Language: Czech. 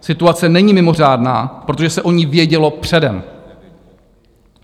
Situace není mimořádná, protože se o ní vědělo předem.